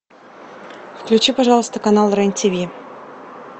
включи пожалуйста канал рен тв